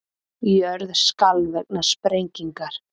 Jörð skalf vegna sprengingar